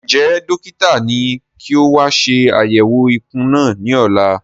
Njẹ dókítà ní kí o wa ṣe àyẹwò ikùn náà ní ọ̀la?